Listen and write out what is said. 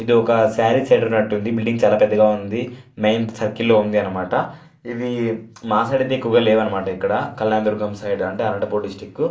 ఇది ఒక సారీ సెంటర్ అటు ఉంది. బిల్డింగ్ చాలా పెద్దగా ఉంది. మెయిన్ సర్కిల్ లో ఉంది అనమాట. ఇది మా సైడ్ అయితే ఎక్కువుగా లేదు అనమా.ట ఇక్కడ కలదుర్గం సైడ్ అంటే అనంతపురం డిస్ట్రిక్ట్ .